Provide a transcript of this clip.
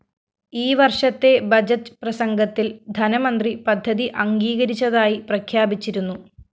ഈ വര്‍ഷത്തെ ബഡ്ജറ്റ്‌ പ്രസംഗത്തില്‍ ധനമന്ത്രി പദ്ധതി അംഗീകരിച്ചതായി പ്രഖ്യാപിച്ചിരുന്നു